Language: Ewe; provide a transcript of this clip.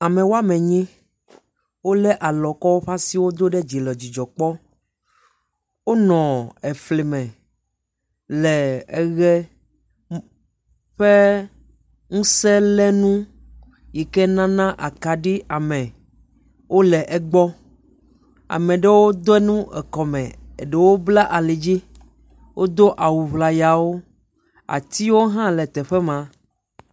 Ame woame nyi, wolé alɔ kɔ woƒe asiwo do ɖe dzi le dzidzɔ kpɔm. Wonɔ efri me le eʋe ƒe ŋusẽlénu yike nana akaɖi ame. Wole egbɔ, ame ɖewo de nu ekɔme, eɖewo bla ali dzi, wodo awu ŋlayawo, atiwo hã le teƒe ma.